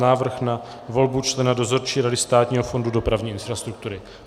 Návrh na volbu člena Dozorčí rady Státního fondu dopravní infrastruktury